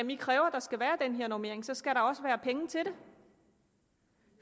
i kræver at der skal være den her normering og så skal der også være penge til det